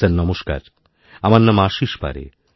sir নমস্কার আমার নাম আশীষ পারে